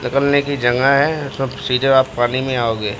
निकलने की जगह है। सब सीधे आप पानी में आओगे।